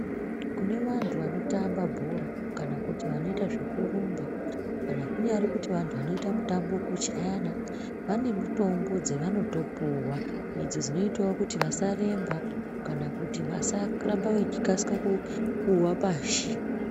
Kune vantu vano tambe bhora kana kuti vanoita zveku rumba kunyari kumboto antu anoita mutambo weku chayana vane mitombo dzavanoto puwa idzi dzinoitawo kuti vasa remba kana kuti vasa ramba vechi kasika kuwa pashi.